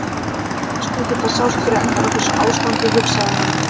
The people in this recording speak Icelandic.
Eins gott að það sást fyrir endann á þessu ástandi, hugsaði hann.